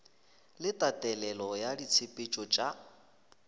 le tatelelo ya ditshepetšo tša